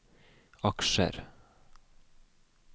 aksjer